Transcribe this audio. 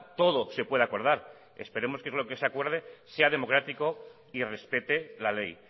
todo se puede acordar esperemos que lo que se acuerde sea democrático y respete la ley